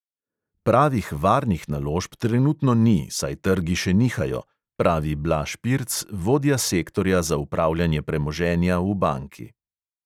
"Pravih varnih naložb trenutno ni, saj trgi še nihajo," pravi blaž pirc, vodja sektorja za upravljanje premoženja v banki.